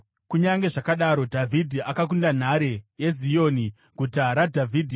Kunyange zvakadaro, Dhavhidhi akakunda nhare yeZioni, Guta raDhavhidhi.